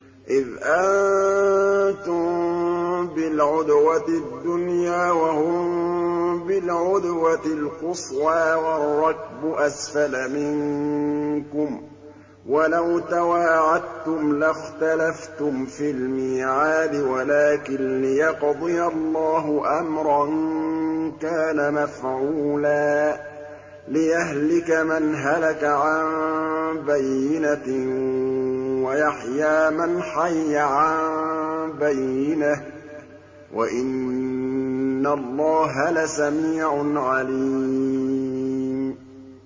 إِذْ أَنتُم بِالْعُدْوَةِ الدُّنْيَا وَهُم بِالْعُدْوَةِ الْقُصْوَىٰ وَالرَّكْبُ أَسْفَلَ مِنكُمْ ۚ وَلَوْ تَوَاعَدتُّمْ لَاخْتَلَفْتُمْ فِي الْمِيعَادِ ۙ وَلَٰكِن لِّيَقْضِيَ اللَّهُ أَمْرًا كَانَ مَفْعُولًا لِّيَهْلِكَ مَنْ هَلَكَ عَن بَيِّنَةٍ وَيَحْيَىٰ مَنْ حَيَّ عَن بَيِّنَةٍ ۗ وَإِنَّ اللَّهَ لَسَمِيعٌ عَلِيمٌ